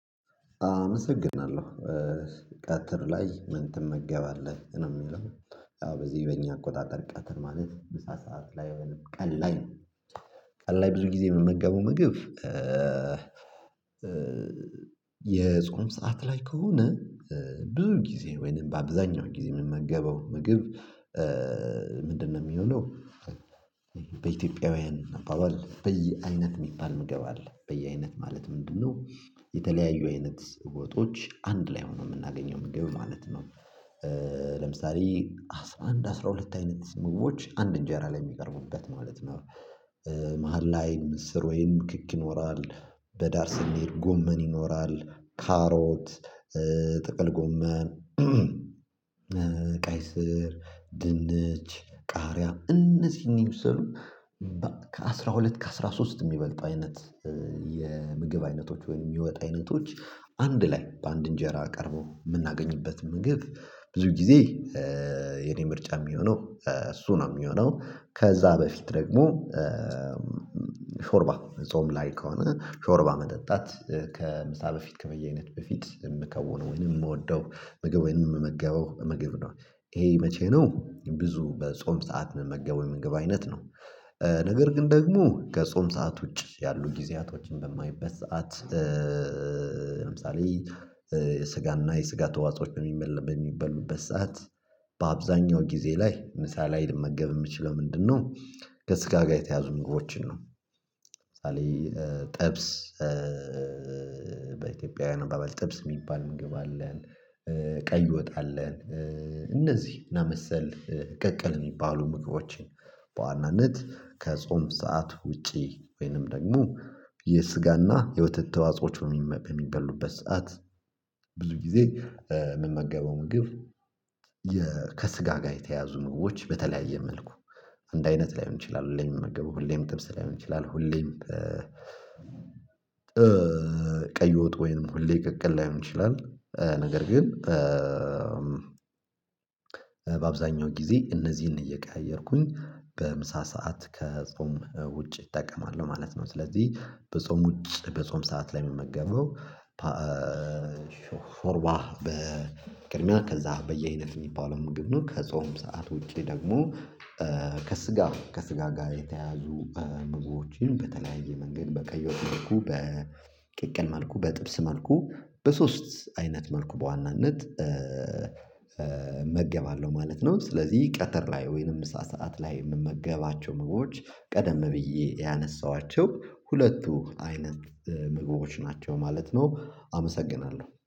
አመሰግናለሁ ቀትር ላይ ምን ትመገባለህ ነው የሚለው? ያው በዚህ በእኛ አቆጣጠር ቀጥር ማለት ምሳ ሰዓት ላይ ወይም ቀን ላይ። ቀን ላይ ብዙ ጊዜ ምመገበው ምግብ። የጾም ሰዓት ላይ ከሆነ ብዙ ጊዜ ወይንም በአብዛኛው ጊዜ ምመገበ ምግብ። ምንድነው ሚሆነው? በኢትዮጵያውያን አባባል በየአይነት የሚባል ምገብ አለ በየአይነት ማለት ምንድነው? የተለያዩ አይነት ስርወጦች አንድ ላይ ሆነው ምናገኘው ምግብ ማለት ነው። ለምሳሌ አስራ አንድ አስራ ሁለት አይነት ምግቦች አንድ እንጀራ ላይ የሚቀርቡበት ማለት ነው። መሃል ላይ ምስር ወይም ክክ ይኖራል በዳር ስንሄድ ጎመን ይኖራል ካሮት። ጥቅል ጎመን ቀይስር ድንች ቃርያም እነዚህን ይመስሉ ከአሥራ ሁለት ከአሥራ ሶስት የሚበልጥ አይነት። የምግብ አይነቶች ወይም የሚወጣ አይነቶች አንድ ላይ በአንድ እንጀራ ቀርቦ ምናገኝበት ምግብ። ብዙ ጊዜ የኔ ምርጫ የሚሆነው እሱ ነው የሚሆነው ከዛ በፊት ደግሞ። ሾርባ ጾም ላይ ከሆነ ሾርባ መጠጣት ከምሳ በፊት ከበየአነት በፊት የምከውነው ወይንም የምወደው ምግብ ወይንም የምመገበው ምግብ ነው። ይሄ መቼ ነው ብዙ በጾም ሰዓት ምመገበው የምንገባ አይነት ነው። ነገር ግን ደግሞ ከጾም ሰዓት ውጪ ያሉ ጊዜያቶችን በማይበት ሰዓት። ለምሳሌ የስጋና የስጋ ተዋጾች በሚበሉበት ሰዓት በአብዛኛው ጊዜ ላይ ምሳ ላይ ልመገብ የምችለው ምንድነው? ከስጋ ጋር የተያዙ ምግቦችን ነው። ሳሊ ጥብስ በኢትዮጵያ አባበል ጥብስ የሚባል ምግብ አለን። ቀይ ወጣ አለን። እነዚህ ምናምን መሰል ቅቅል የሚባሉ ምግቦችን በዋናነት ከጾም ሰዓት ውጪ ወይንም ደግሞ የስጋና የወተት ተዋጾዎች በሚበሉበት ሰዓት ብዙ ጊዜ የምመገበው ምግብ። ከስጋ ጋር የተያዙ ምግቦች በተለያየ መልኩ አንድ አይነት ላይሆን ይችላል ሁሌም ምመገቡ ሁሌም ጥብስ ላይሆን ይችላል ሁሌም በ ቀይ ወጥ ወይንም ሁሌ ቅቅል ላይሆን ይችላል። ነገር ግን በአብዛኛው ጊዜ እነዚህን እየቀያየርኩኝ በምሳ ሰዓት ከጾም ውጪ እጠቀማለሁ ማለት ነው። ስለዚህ በጾም ውጪ በጾም ሰዓት ላይ ሚመገበው። ሾርባ በቅድሚያ ከዛ በየአአይነት የሚባለው ምግብ ነው። ከጾም ሰዓት ውጪ ደግሞ ከስጋ ከስጋ ጋር የተያዙ ምግቦችን በተለያየ መንገድ በቀይ ወጥ መልኩ በቅቅል መልኩ በጥብስ መልኩ በሶስት አይነት መልኩ በዋናነት እመገባለሁ ማለት ነው። ስለዚህ ቀጠር ላይ ወይንም ሰዓት ላይ ምመገባቸው ምግቦች ቀደም ብዬ ያነሳኋቸው ሁለቱ አይነት ምግቦች ናቸው ማለት ነው። አመሰግናለሁ